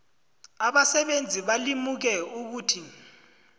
abasebenzi balimuke ukuthi